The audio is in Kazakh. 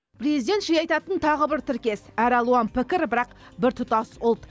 президент жиі айтатын тағы бір тіркес әр алуан пікір бірақ біртұтас ұлт